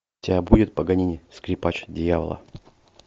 у тебя будет паганини скрипач дьявола